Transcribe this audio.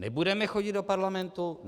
Nebudeme chodit do Parlamentu.